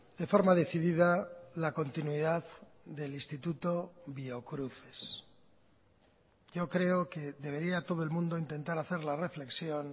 de forma decidida la continuidad del instituto biocruces yo creo que debería todo el mundo intentar hacer la reflexión